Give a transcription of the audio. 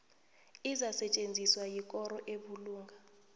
izakusetjenziswa yikoro ebulunga